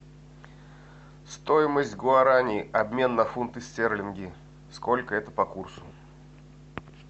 стоимость гуарани обмен на фунты стерлинги сколько это по курсу